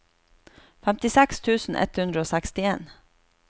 femtiseks tusen ett hundre og sekstien